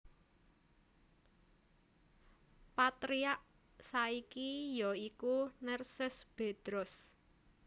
Patriark saiki ya iku Nerses Bedros